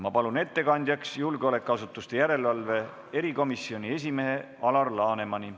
Ma palun ettekandjaks julgeolekuasutuste järelevalve erikomisjoni esimehe Alar Lanemani.